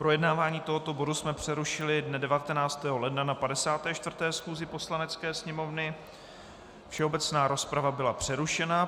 Projednávání tohoto bodu jsme přerušili dne 19. ledna na 54. schůzi Poslanecké sněmovny, všeobecná rozprava byla přerušena.